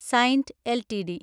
Saint LTD